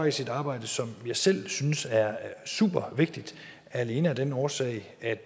et arbejde som jeg selv synes er supervigtigt alene af den årsag at